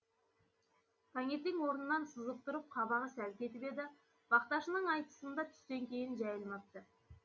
тәңертең орнынан сызып тұрып қабағы сәл кетіп еді бақташының айтысында түстен кейін жәйілмәпті